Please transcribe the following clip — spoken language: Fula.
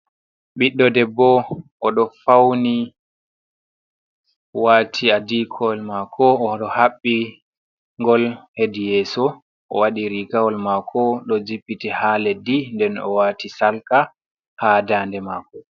Ɓiɗɗo debbo o ɗo fauni wati adikowol mako ɗo habbi'ngol hedi yeso, o wadi rigawol mako ɗo jippiti ha leddi nden o wati sarka ha dande mako.